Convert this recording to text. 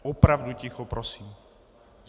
Opravdu ticho prosím!